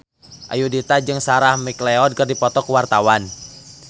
Ayudhita jeung Sarah McLeod keur dipoto ku wartawan